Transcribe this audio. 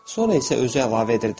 Sonra isə özü əlavə edirdi.